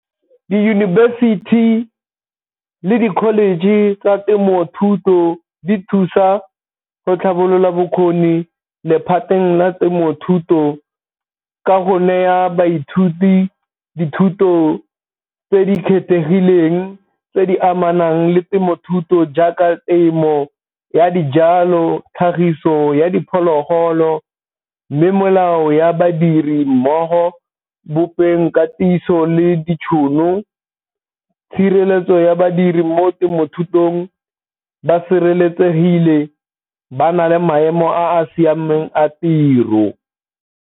Diyunibesithi le di-college tsa temothuto di thusa go tlhabolola bokgoni lephateng la temothuto ka go naya baithuti dithuto tse di kgethegileng tse di amanang le temothuto jaaka temo ya dijalo, tlhagiso ya diphologolo, mme molao ya badiri mmogo, bopeng katiso le ditšhono, tshireletso ya badiri mo temothutong ba sireletsegile ba na le maemo a a siameng a tiro.